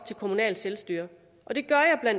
det kommunale selvstyre